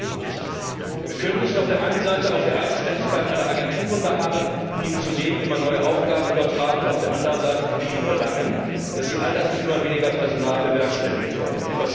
Denn eines geht nicht Wir können nicht auf der einen Seite auf der Eigenständigkeit aller Agenturen beharren, ihnen zudem immer neue Aufgaben übertragen, und auf der anderen Seite von ihnen verlangen, dass sie all das mit immer weniger Personal bewerkstelligen sollten.